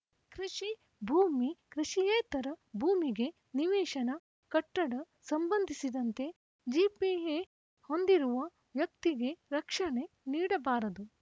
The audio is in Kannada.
ಕೃಷಿ ಭೂಮಿ ಕೃಷಿಯೇತರ ಭೂಮಿಗೆ ನಿವೇಶನ ಕಟ್ಟಡ ಸಂಬಂಧಿಸಿದಂತೆ ಜಿಪಿಎ ಹೊಂದಿರುವ ವ್ಯಕ್ತಿಗೆ ರಕ್ಷಣೆ ನೀಡಬಾರದು